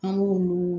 An b'olu